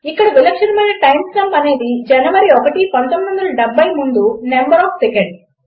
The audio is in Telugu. ఇక విలక్షణమైన టైమ్ స్టాంప్ అనేది జనవరి ఐఎస్టీ 1970 ముందు నంబర్ ఆఫ్ సెకండ్స్